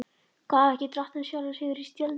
Gaf ekki Drottinn sjálfur sigra í styrjöldum?